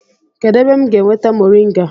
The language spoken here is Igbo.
Kedu ebe m ga-enweta moringa?